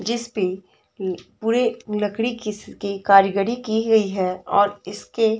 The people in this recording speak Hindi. जिसपे ए पूरे लकड़ी की कारीगरी की गई है और इसके --